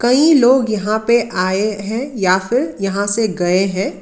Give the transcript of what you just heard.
कई लोग यहां पे आए हैं या फिर यहां से गए हैं।